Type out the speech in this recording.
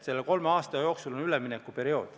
Selle kolme aasta jooksul on üleminekuperiood.